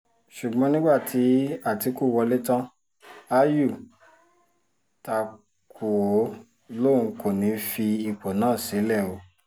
ṣùgbọ́n nígbà tí àtìkù ti wọlé tán ayù ta kú ó lóun kò ní í fi ipò náà sílẹ̀ o